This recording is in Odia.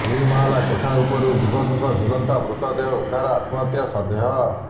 ଦୁଇ ମହଲା କୋଠା ଉପରୁ ଯୁବକଙ୍କ ଝୁଲନ୍ତା ମୃତଦେହ ଉଦ୍ଧାର ଆତ୍ମହତ୍ୟା ସନ୍ଦେହ